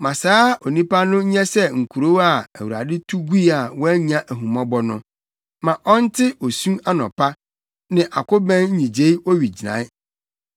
Ma saa onipa no nyɛ sɛ nkurow a Awurade tu gui a wannya ahummɔbɔ no. Ma ɔnte osu anɔpa, ne akobɛn nnyigyei owigyinae.